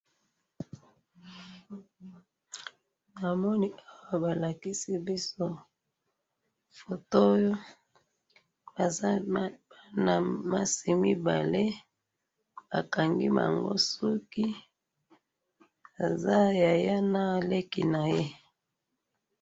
namoni awa ba lakisi biso photo oyo baza bana basi mibale, ba kangi bango suki, baza yaya na leki naye